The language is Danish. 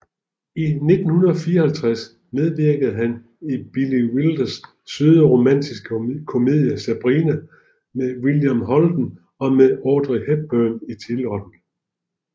I 1954 medvirkede han i Billy Wilders søde romantiske komedie Sabrina med William Holden og med Audrey Hepburn i titelrollen